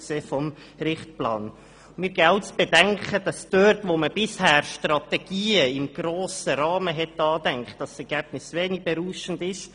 Wir geben auch zu bedenken, dass wir dort, wo wir bisher Strategien im grossen Rahmen angedacht haben, wenig berauschende Ergebnisse erzielten.